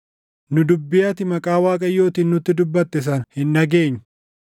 “Nu dubbii ati maqaa Waaqayyootiin nutti dubbatte sana hin dhageenyu!